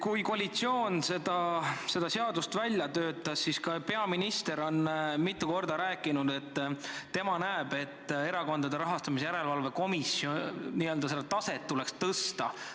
Kui koalitsioon seda seaduseelnõu välja töötas, siis peaminister ütles mitu korda, et tema arvates Erakondade Rahastamise Järelevalve Komisjoni taset tuleks tõsta.